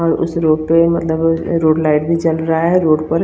और उस रोड पे मतलब रोड लाइट भी जल रहा है रोड --